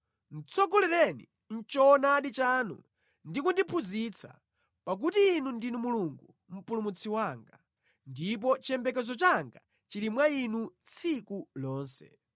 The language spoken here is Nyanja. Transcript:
tsogolereni mʼchoonadi chanu ndi kundiphunzitsa, pakuti Inu ndinu Mulungu mpulumutsi wanga, ndipo chiyembekezo changa chili mwa Inu tsiku lonse.